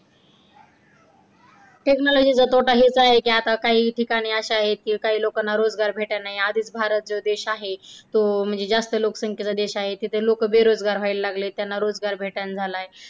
Technology चा तोटा हेच आहे, का आता काही ठिकाणी अशा आहे की काही लोकांना रोजगार भेटत नाही. आधीच भारत जो देश आहे तो म्हणजे जास्त लोकसंख्येचा देश आहे. तेथे लोकं बेरोजगार व्हायला लागली आहेत. त्याना रोजगार भेटन नाही झाला.